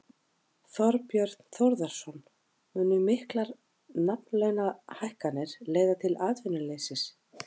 Þorbjörn Þórðarson: Munu miklar nafnlaunahækkanir leiða til atvinnuleysis?